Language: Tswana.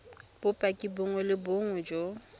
bopaki bongwe le bongwe jo